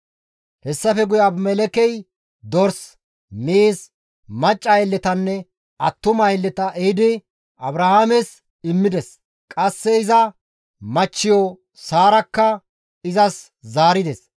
Hessafe guye Abimelekkey dors, miiz, macca aylletanne attuma aylleta ehidi Abrahaames immides; qasse iza machchiyo Saarakka izas zaarides.